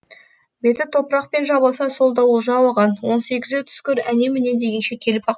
беті топырақпен жабылса сол да олжа оған он сегізі түскір әне міне дегенше келіп